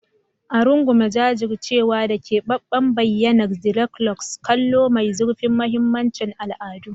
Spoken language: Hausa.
A rungume jajircewa da keɓaɓɓen bayyanar dreadlocks, kallo mai zurfin mahimmancin al'adu.